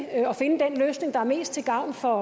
at finde den løsning der er mest til gavn for